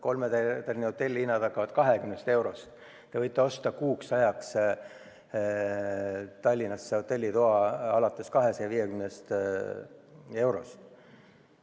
Kolmetärnihotelli hinnad hakkavad 20 eurost, te võite osta kuuks ajaks Tallinnasse hotellitoa alates 250 euro eest.